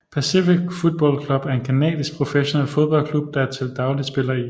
Pacific Football Club er en canadisk professionel fodboldklub der til dagligt spiller i